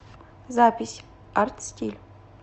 запись артстиль